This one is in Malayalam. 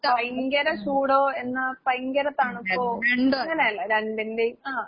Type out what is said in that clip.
ഭയങ്കര ചൂടോ, എന്നാ ഭയങ്കര തണുപ്പോ അങ്ങനല്ല. രണ്ടിന്റേം ആഹ്.